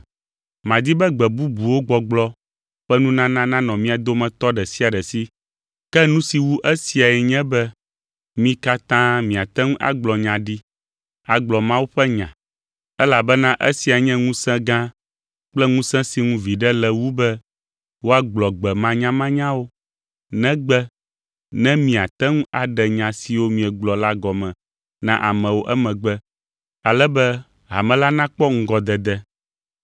Madi be “gbe bubuwo gbɔgblɔ” ƒe nunana nanɔ mia dometɔ ɖe sia ɖe si, ke nu si wu esiae nye be mi katã miate ŋu agblɔ nya ɖi, agblɔ Mawu ƒe nya, elabena esia nye ŋusẽ gã kple ŋusẽ si ŋu viɖe le wu be woagblɔ gbe manyamanyawo, negbe ne miate ŋu aɖe nya siwo miegblɔ la gɔme na amewo emegbe, ale be hame la nakpɔ ŋgɔdede.